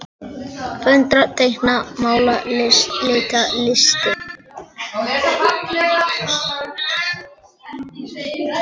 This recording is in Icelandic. Föndra- teikna- mála- lita- listir